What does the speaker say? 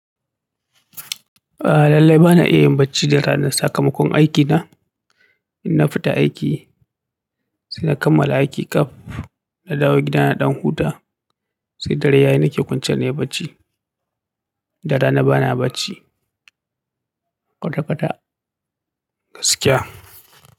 A lallai bana iya yin bacci da rana sakamakon aiki na. Ina fita aiki, saina kammala aiki ƙaf, na dawo gida na ɗan huta, sai dare yayi nake kwanciya nayi bacci. Da rana bana bacci. Kwata-kwata gaskiya.